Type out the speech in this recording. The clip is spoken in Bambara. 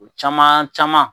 O caman caman